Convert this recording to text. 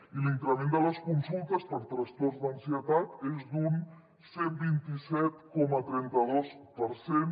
i l’increment de les consultes per trastorns d’ansietat és d’un cent i vint set coma trenta dos per cent